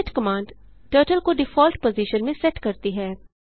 reset command turtle को default position में set करती है